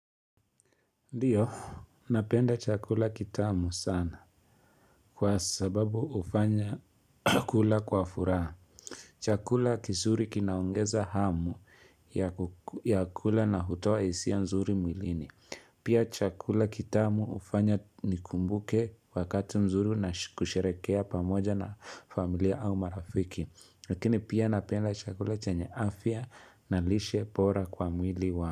Ndiyo, napenda chakula kitamu sana kwa sababu hufanya kula kwa furaha. Chakula kizuri kinaongeza hamu ya kula na hutoa hisia nzuri mwilini Pia chakula kitamu ufanya nikumbuke wakati mzuri na kusherekea pamoja na familia au marafiki. Lakini pia napenda chakula chenye afya na lishe bora kwa mwili wa.